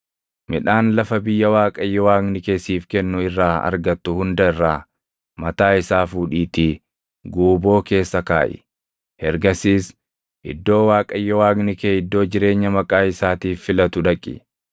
midhaan lafa biyya Waaqayyo Waaqni kee siif kennu irraa argattu hunda irraa mataa isaa fuudhiitii guuboo keessa kaaʼi. Ergasiis iddoo Waaqayyo Waaqni kee iddoo jireenya Maqaa isaatiif filatu dhaqi;